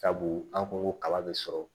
Sabu an ko ko kaba be sɔrɔ